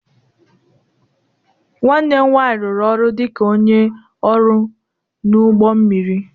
Nwanne m nwanyị rụrụ ọrụ dị ka onye ọrụ n'ụgbọ mmiri